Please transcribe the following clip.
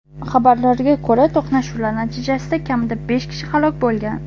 Xabarlarga ko‘ra, to‘qnashuvlar natijasida kamida besh kishi halok bo‘lgan.